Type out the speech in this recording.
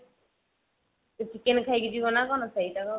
chicken ଖାଇକି ଯିବ ନା କଣ ସେଇଟା